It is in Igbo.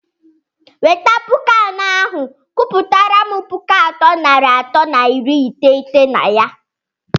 weta pụkụ anọ ahụ, gụpụtaram pụkụ atọ nari atọ na iri iteghete na ya!!!